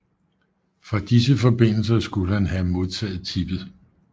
Fra disse forbindelser skulle han have modtaget tippet